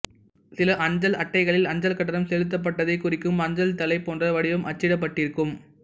சில அஞ்சல் அட்டைகளில் அஞ்சல் கட்டணம் செலுத்தப்பட்டதைக் குறிக்கும் அஞ்சல்தலை போன்ற வடிவம் அச்சிடப்பட்டிருக்கும்